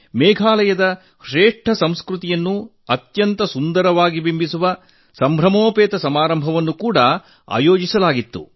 ಮೇಘಾಲಯದ ಶ್ರೇಷ್ಠ ಸಂಸ್ಕೃತಿಯನ್ನು ಅತ್ಯಂತ ಸುಂದರವಾಗಿ ಬಿಂಬಿಸುವ ಅತ್ಯಂತ ಸಂಭ್ರಮದ ಸಮಾರಂಭವನ್ನು ಕೂಡ ಆಯೋಜನೆಗೊಂಡಿತ್ತು